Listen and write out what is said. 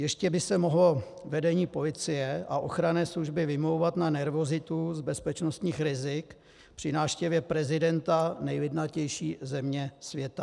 Ještě by se mohlo vedení policie a ochranné služby vymlouvat na nervozitu z bezpečnostních rizik při návštěvě prezidenta nejlidnatější země světa.